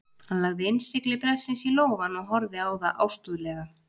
Hann lagði innsigli bréfsins í lófann og horfði á það ástúðlega.